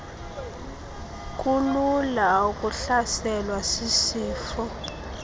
kulula ukuhlaselwa sisifo